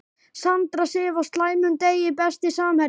Sandra Sif á slæmum degi Besti samherjinn?